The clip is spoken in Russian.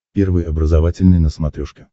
первый образовательный на смотрешке